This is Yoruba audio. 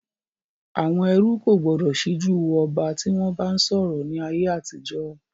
Àwọn ẹrú kò gbọdọ̀ síjú wo ọba tí wọn bá ń sọ̀rọ̀ ni ayé àtijọ́